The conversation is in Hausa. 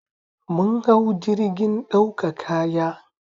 Mun hau jirgin ɗauka kaya